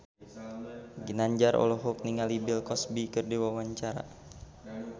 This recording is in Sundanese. Ginanjar olohok ningali Bill Cosby keur diwawancara